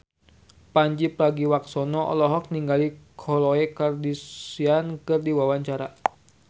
Pandji Pragiwaksono olohok ningali Khloe Kardashian keur diwawancara